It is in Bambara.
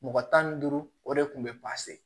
Mɔgɔ tan ni duuru o de kun bɛ